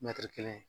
Mɛtiri kelen